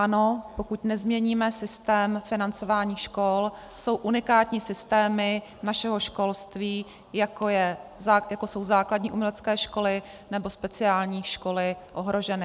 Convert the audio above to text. Ano, pokud nezměníme systém financování škol, jsou unikátní systémy našeho školství, jako jsou základní umělecké školy nebo speciální školy, ohroženy.